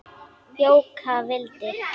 Jóka vildi.